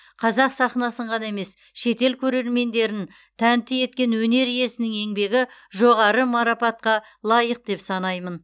қазақ сахнасын ғана емес шетел көрермендерін тәнті еткен өнер иесінің еңбегі жоғары марапатқа лайық деп санаймын